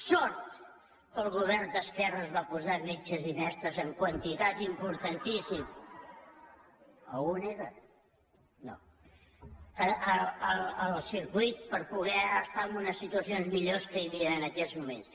sort que el govern d’esquerres va posar metges i mestres en quantitat importantíssima circuit per poder estar en unes situacions millors que no hi havia en aquells moments